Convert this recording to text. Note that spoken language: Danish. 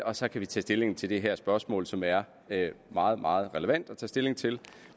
og så kan vi tage stilling til det her spørgsmål som er meget meget relevant at tage stilling til